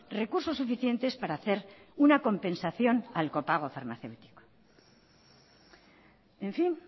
recursos suficientes para hacer una compensación al copago farmacéutico en fin